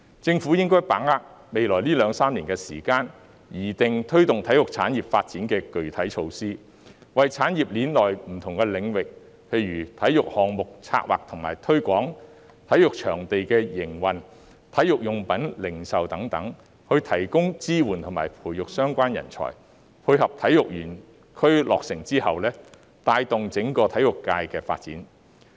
政府應該把握未來兩三年的時間，擬定推動體育產業發展的具體措施，為產業鏈內不同領域，例如體育項目策劃和推廣、體育場地營運、體育用品零售等提供支援和培育相關人才，配合體育園區的落成，帶動整個體育界的發展。